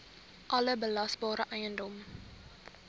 alle belasbare eiendom